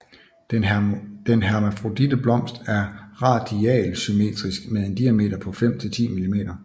Den hermafroditte blomst er radialsymmetrisk med en diameter på 5 til 10 mm